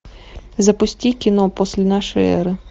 запусти кино после нашей эры